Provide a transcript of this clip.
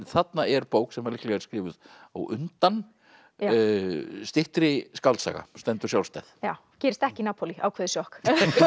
þarna er bók sem líklega er skrifuð á undan styttri skáldsaga og stendur sjálfstæð já gerist ekki í Napolí ákveðið sjokk